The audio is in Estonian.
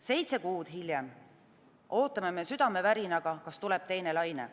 Seitse kuud hiljem ootame me südamevärinaga, kas tuleb teine laine.